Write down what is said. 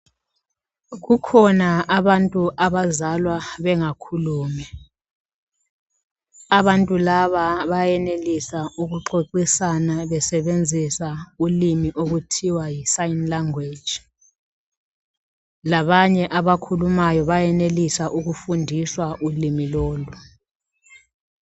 Kukhona abantu abazalwa bengakhulumi abantu laba bayenelisa ukuxoxisana besebenzisa ulimi okuthiwa yi sign language labanye abakhulumayo bayenelisa ukufundiswa ulimi lolu.